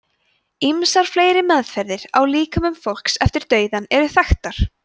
ýmsar fleiri meðferðir á líkömum fólks eftir dauðann eru þekktar